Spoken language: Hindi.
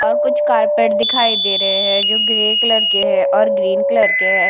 और कुछ कारपेट दिखाई दे रहे है जो ग्रे कलर के है और ग्रीन कलर के है।